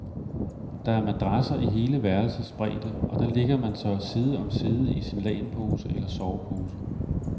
Der er madrasser i hele værelsets bredde, og der ligger man så side om side i sin lagenpose eller sovepose.